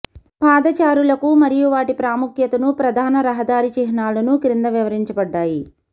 పాదచారులకు మరియు వాటి ప్రాముఖ్యతను ప్రధాన రహదారి చిహ్నాలను క్రింద వివరించబడ్డాయి